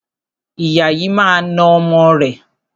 Ìyá yìí máa na ọmọ rẹ̀.